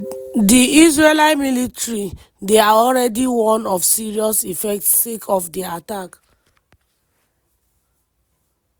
di israeli military dey already warn of serious effects sake of di attack.